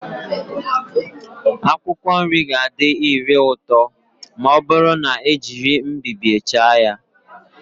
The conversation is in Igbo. Akwụkwọ nri ga-adị ire ụtọ ma ọ bụrụ na ejiri mbibie chaa ya